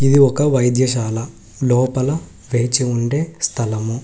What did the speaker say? ఇది ఒక వైద్యశాల లోపల వేచి ఉండే స్థలము.